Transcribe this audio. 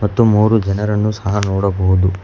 ಮತ್ತು ಮೂರು ಜನರನ್ನು ಸಹ ನೋಡಬಹುದು.